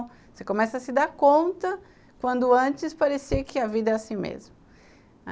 Você começa a se dar conta quando antes parecia que a vida era assim mesmo.